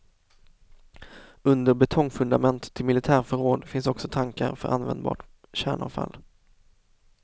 Under betongfundament till militärförråd finns också tankar för användbart kärnavfall.